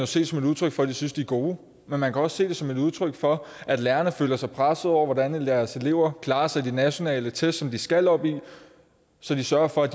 se som et udtryk for at de synes at de er gode men man kan også se det som et udtryk for at lærerne føler sig presset over hvordan deres elever klarer sig i de nationale test som de skal op i så de sørger for at